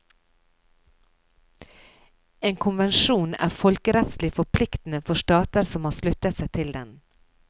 En konvensjon er folkerettslig forpliktende for stater som har sluttet seg til den.